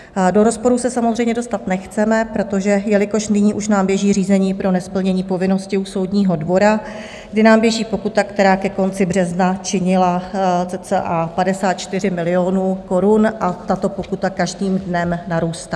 Do rozporu se samozřejmě dostat nechceme, protože jelikož nyní už nám běží řízení pro nesplnění povinnosti u soudního dvora, kdy nám běží pokuta, která ke konci března činila cca 54 milionů korun, a tato pokuta každým dnem narůstá.